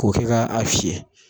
K'o kɛ ka a fiyɛ